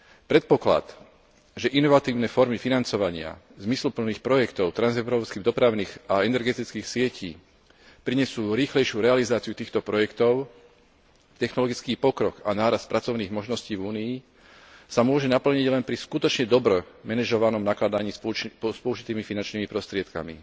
Predpoklad, že inovatívne formy financovania zmysluplných projektov transeurópskych dopravných a energetických sietí prinesú rýchlejšiu realizáciu týchto projektov, technologický pokrok a nárast pracovných možností v Únii, sa môže naplniť len pri skutočne dobre manažovanom nakladaní s použitými finančnými prostriedkami.